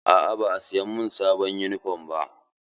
Aa ba a siya min sabuwar yunifom ba.